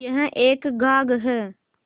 यह एक घाघ हैं